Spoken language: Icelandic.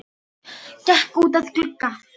Gekk út að glugga.